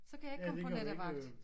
Så kan jeg ikke komme på nattevagt